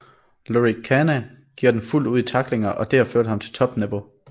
Lorik Cana giver den fuldt ud i tacklingerne og det har ført ham til top niveau